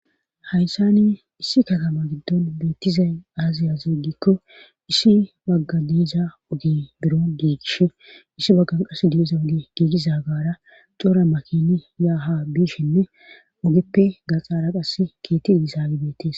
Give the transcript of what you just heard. hayssani issi katama giddon beettizay aaziya ziigikko issi bagga diiza ugi biro giigish issi baggan qas diiza uge giigiza gaara cora makini yaaha biishinne ogeppe gaxaara qass keetti diisa gibetes